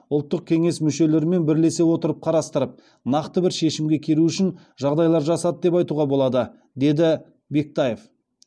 ұлттық кеңес мүшелерімен бірлесе отырып қарастырып нақты бір шешімге келу үшін жағдайлар жасады деп айтуға болады деді бектаев